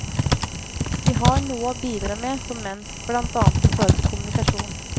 Vi har noe å bidra med som menn, blant annet i forhold til kommunikasjon.